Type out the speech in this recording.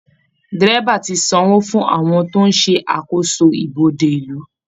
Dẹ́rẹ́baà ti san owó fún àwọn tó ń ṣàkósò ibodè ìlú